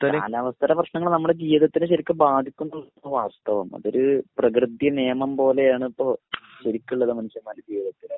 കാലാവസ്ഥയുടെ പ്രശ്നങ്ങൾ നമ്മുടെ ജീവത്തിൽ ശരിക്കും ബാധിക്കുന്ന ഒരു അവസ്ഥ വന്നു. ഒരു പ്രകൃതി നിയമം പോലെയാണ് ഇപ്പോൾ ശരിക്കുമുള്ള മനുഷ്യന്മാരുടെ ജീവിതം